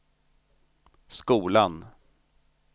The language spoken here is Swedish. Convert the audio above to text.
skolan